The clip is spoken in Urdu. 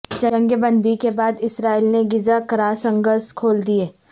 جنگ بندی کے بعد اسرائیل نے غزہ کراسنگز کھول دیں